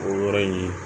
O yɔrɔ in